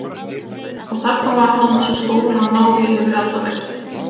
Og þarna var hann, svo stór að hann náði yfir allan vegginn.